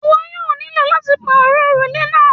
Ìwọ yóò nílọ láti parọ orúlẹ̀ náà.